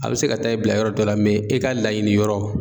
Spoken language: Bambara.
A bi se ka taa i bila yɔrɔ dɔ la e ka laɲini yɔrɔ.